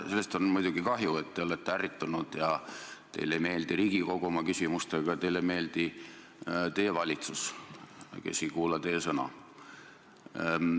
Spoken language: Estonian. Sest on muidugi kahju, et te olete ärritunud ja teile ei meeldi Riigikogu oma küsimustega, teile ei meeldi teie valitsus, kes ei kuula teie sõna.